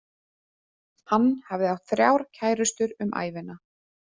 Hann hafði átt þrjár kærustur um ævina.